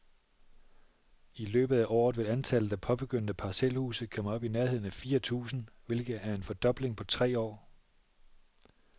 I løbet af året vil antallet af påbegyndte parcelhuse komme op i nærheden af fire tusind, hvilket er en fordobling på tre år.